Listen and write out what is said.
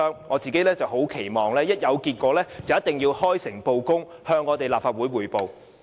磋商一旦有結果，政府便要開誠布公，向立法會匯報。